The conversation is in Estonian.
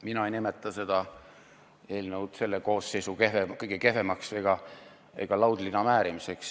Mina ei nimeta seda eelnõu selle koosseisu kõige kehvemaks ega laudlina määrimiseks.